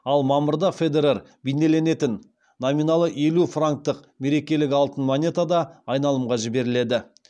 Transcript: ал мамырда федерер бейнеленетін номиналы елу франктық мерекелік алтын монета да айналымға жіберіледі